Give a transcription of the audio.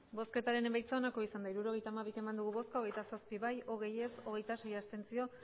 hirurogeita hamabi eman dugu bozka hogeita zazpi bai hogei ez hogeita sei abstentzio